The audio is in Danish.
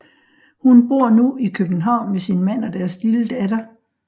Hun bor nu i København med sin mand og deres lille datter